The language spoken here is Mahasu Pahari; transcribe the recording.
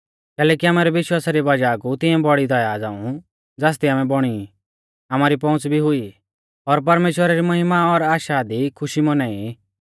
कैलैकि आमारै विश्वासा री वज़ाह कु तिंऐ बौड़ी दया झ़ांऊ ज़ासदी आमै बौणी ई आमारी पौउंच़ भी हुई और परमेश्‍वरा री महिमा और आशा दी खुशी मौनाई ई